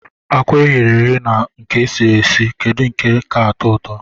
Akwa eghere eghe na nke esiri esi kedu nke ka atọụtọ?